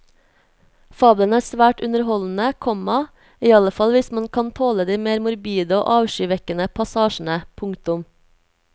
Fabelen er svært underholdende, komma iallfall hvis man kan tåle de mer morbide og avskyvekkende passasjene. punktum